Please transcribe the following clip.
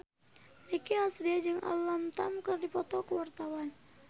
Nicky Astria jeung Alam Tam keur dipoto ku wartawan